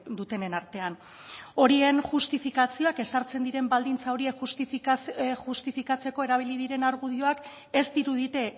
dutenen artean horien justifikazioak ezartzen diren baldintza horiek justifikatzeko erabili diren argudioak ez dirudite